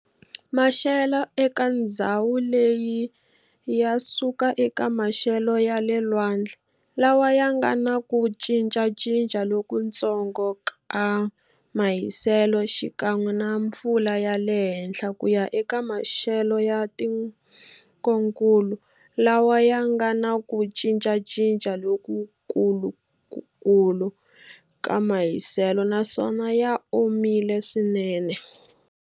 Maxelo eka ndzhawu leyi yasuka eka maxelo yale lwandle lawa yanga na ku cincacinca lokuntsongo ka mahiselo xikan'we na mpfula yale henhla kuya eka maxelo ya tikonkulu lawa yanga na ku cinca cinca lokukulu ka mahiselo naswona ya omile swinene.